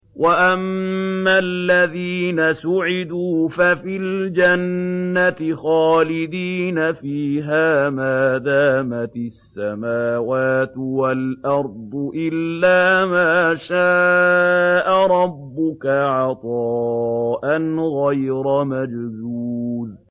۞ وَأَمَّا الَّذِينَ سُعِدُوا فَفِي الْجَنَّةِ خَالِدِينَ فِيهَا مَا دَامَتِ السَّمَاوَاتُ وَالْأَرْضُ إِلَّا مَا شَاءَ رَبُّكَ ۖ عَطَاءً غَيْرَ مَجْذُوذٍ